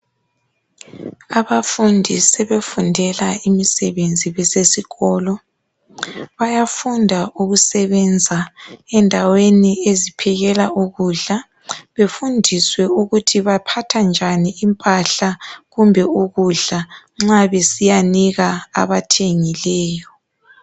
Abafundi sebefundela imisebenzi besesikolo Bayafunda ukusebenza endaweni eziphekela ukudla Befundiswe ukuthi baphatha njani impahla kumbe ukudla nxa besiyanika abathengileyo